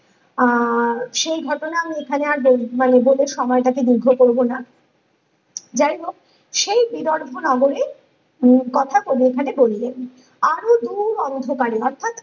আহ আর সেই ঘটনা আমি এখানে আর বল মানে বলে সময়টাকে দীর্ঘ করবোনা যাইহোক সেই বিদর ভুনগরে উম কথা কবি এখানে বললেন আরো দূর অন্ধকারে অর্থাৎ